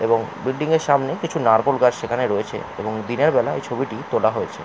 এবং বিল্ডিংয়ের সামনে কিছু নারকোল গাছ সেখানে রয়েছে এবং দিনের বেলায় এই ছবিটি তোলা হয়েছে।